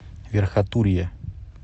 верхотурье